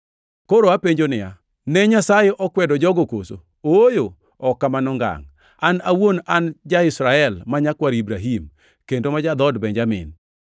Koro apenjo niya, Ne Nyasaye okwedo jogo koso? Ooyo, ok kamano ngangʼ! An awuon an ja-Israel ma nyakwar Ibrahim, kendo ma ja-dhood Benjamin.